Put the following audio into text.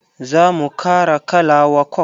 Za mu kara kala wa coke.